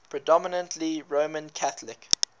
predominantly roman catholic